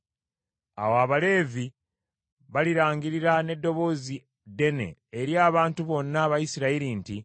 Awo Abaleevi balirangirira n’eddoboozi ddene eri abantu bonna Abayisirayiri nti: